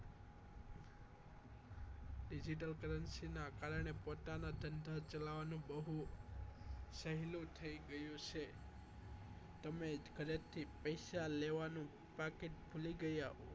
Digital currency ના કારણે પોતાના ધંધા ચલાવવાનું બહુ સહેલું થઈ ગયું છે તમે ઘરેથી જ પૈસા લેવાનું બાકી ભૂલી ગયા